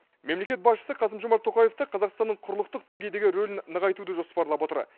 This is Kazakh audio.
мемлекет басшысы қасым жомарт тоқаев та қазақстанның құрлықтық деңгейдегі рөлін нығайтуды жоспарлап отыр